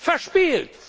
verspielt!